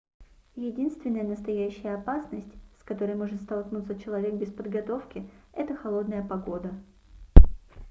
единственная настоящая опасность с которой может столкнуться человек без подготовки - это холодная погода